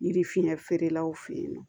Yiri fiɲɛ feerelaw fe yen nɔ